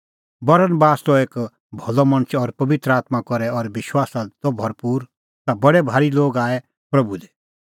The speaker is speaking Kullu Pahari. बरनबास त एक भलअ मणछ और पबित्र आत्मां करै और विश्वासा दी त भरपूर ता बडै भारी लोग आऐ प्रभू दी